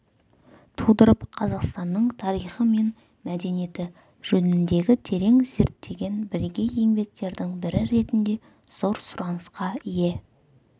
тудырып қазақстанның тарихы мен мәдениеті жөніндегі терең зерттеген бірегей еңбектердің бірі ретінде зор сұранысқа ие